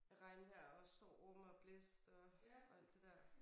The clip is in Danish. Af regnvejr og storm og blæst og og alt det der